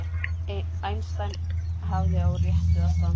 Einstein hafði á réttu að standa